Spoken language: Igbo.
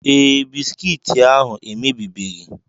Ee, Bisikiiti ahu emebibeghị.